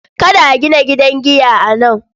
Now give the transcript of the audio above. Kada a gina gidan giya a nan.